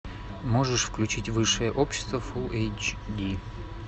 можешь включить высшее общество фул эйч ди